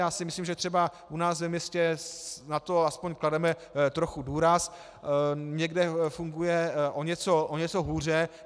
Já si myslím, že třeba u nás ve městě na to aspoň klademe trochu důraz, někde funguje o něco hůře.